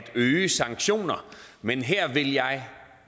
øge sanktioner men her vil jeg